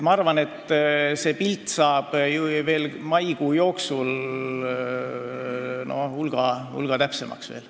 Ma arvan, et pilt saab maikuu jooksul hulga täpsemaks.